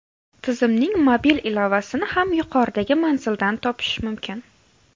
Tizimning mobil ilovasini ham yuqoridagi manzildan topish mumkin.